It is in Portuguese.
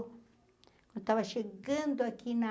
Eu estava chegando aqui na...